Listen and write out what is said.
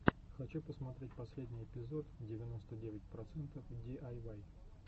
хочу посмотреть последний эпизод девяносто девять процентов диайвай